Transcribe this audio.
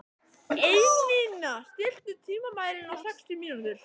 Einína, stilltu tímamælinn á sextíu mínútur.